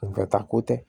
ta ko tɛ